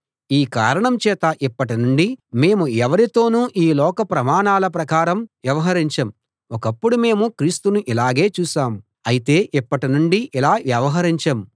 ఈ కారణం చేత ఇప్పటి నుండి మేము ఎవరితోనూ ఈ లోక ప్రమాణాల ప్రకారం వ్యవహరించం ఒకప్పుడు మేము క్రీస్తును ఇలాగే చూశాం అయితే ఇప్పటి నుండి ఇలా వ్యవహరించం